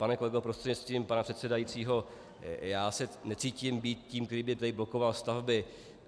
Pane kolego prostřednictvím pana předsedajícího, já se necítím být tím, který by tady blokoval stavby.